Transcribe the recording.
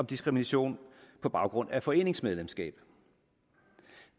diskrimination på baggrund af foreningsmedlemskab